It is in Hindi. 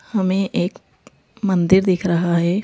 हमें एक मंदिर दिख रहा है।